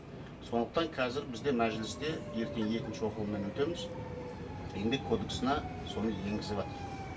сондықтан қазір бізде мәжілісте ертең екінші оқылымнан өтеміз еңбек кодексына соны енгізіватыр